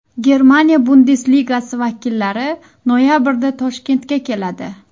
Germaniya Bundesligasi vakillari noyabrda Toshkentga keladi.